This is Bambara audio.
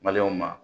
ma